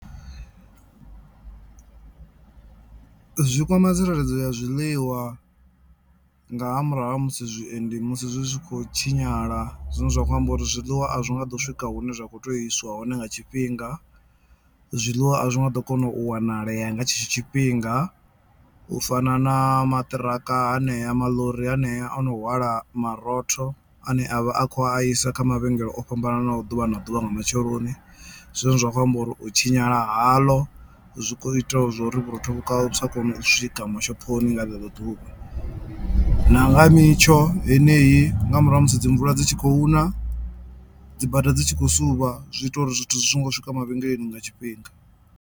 Zwi kwama tsireledzo ya zwiḽiwa nga ha murahu ha musi zwiendi musi zwi tshi khou tshinyala zwine zwa khou amba uri zwiḽiwa a zwi nga ḓo swika hune zwa kho tea u iswa hone nga tshifhinga, zwiḽiwa azwi nga ḓo kona u wanalea nga tshetsho tshifhinga u fana na maṱiraka hanea maḽori hanea ono hwala marotho ane avha a kho a isa kha mavhengele o fhambananaho ḓuvha na ḓuvha nga matsheloni. Zwine zwa khou amba uri u tshinyala haḽo zwi kho ita zwa uri vhurotho vhusa kone u swika mashophoni nga ḽeḽo ḓuvha na nga mitsho heneyi nga murahu ha musi dzi mvula dzi tshi khou na dzi bada dzi tshi khou suvha zwi ita uri zwithu zwi songo swika mavhengeleni nga tshifhinga.